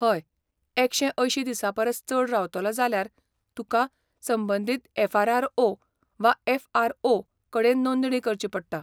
हय, एकशे अंयशीं दिसां परस चड रावतलो जाल्यार तुका संबंदीत एफ.आर.आर.ओ. वा एफ.आर.ओ. कडेन नोंदणी करची पडटा.